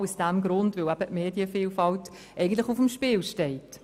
Und dies aus genau dem Grund, dass eigentlich die Medienvielfalt auf dem Spiel steht.